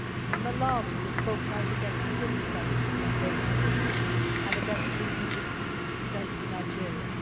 In Malawi we have spoken out against the prison sentences for gay couples and against recent events in Nigeria.